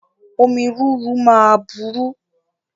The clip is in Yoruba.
Omi rúru ma buru